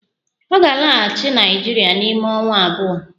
Ọ ga-alaghachi Naịjirịa n'ime ọnwa abụọ